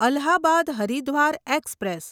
Allahabad Haridwar express